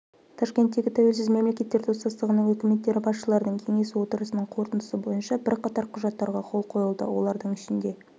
ташкенттегі тәуелсіз мемлекеттер достастығының үкіметтері басшыларының кеңесі отырысының қорытындысы бойынша бірқатар құжаттарға қол қойылды олардың ішінде